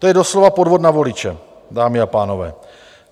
To je doslova podvod na voliče, dámy a pánové.